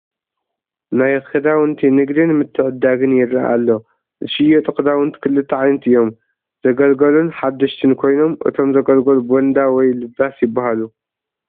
ናይ ክዳውንቲ ንግድን ምትዕድዳግን ይረአ ኣሎ፡፡ ዝሽየጡ ክዳውንቲ ክልተ ዓይነት እዮም፡፡ ዘገልገሉን ሓደሽትን ኮይኖም እቶም ዘገልገሉ ቦንዳ ወይ ልባስ ይባሃሉ፡፡